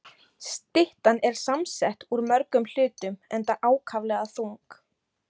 Styttan er samsett úr mörgum hlutum, enda ákaflega þung.